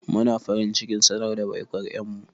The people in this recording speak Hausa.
Muna farin cikin sanar da baikon ƴar mu.